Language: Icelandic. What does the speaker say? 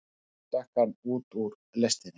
Og svo stökk hann út úr lestinni.